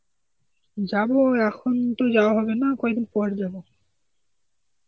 যাব, এখন তো যাওয়া হবে না, কয়দিন পর যাব.